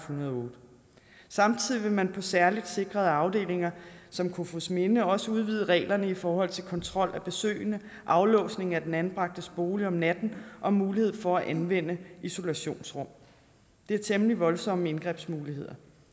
hundrede og otte samtidig vil man på særligt sikrede afdelinger som kofoedsminde også udvide reglerne i forhold til kontrol af besøgende aflåsning af den anbragtes bolig om natten og mulighed for at anvende isolationsrum det er temmelig voldsomme indgrebsmuligheder